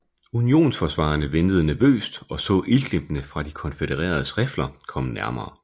Unionsforsvarerne ventede nervøst og så ildglimtene fra de konfødereredes rifler komme nærmere